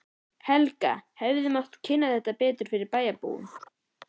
Helga: Hefði mátt kynna þetta betur fyrir bæjarbúum?